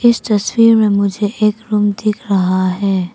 इस तस्वीर में मुझे एक रूम दिख रहा है।